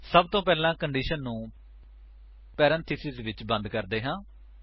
ਸਬ ਤੋਂ ਪਹਿਲਾਂ ਕੰਡੀਸ਼ਨ ਨੂੰ ਪੇਰੇਨਥੇਸਿਸ ਵਿੱਚ ਬੰਦ ਕਰਦੇ ਹਾਂ